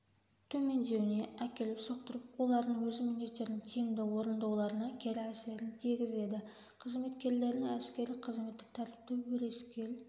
төмендеуіне әкеліп соқтырып олардың өз міндеттерін тиімді орындауларына кері әсерін тигізеді қызметкерлерінің әскери-қызметтік тәртіпті өрескел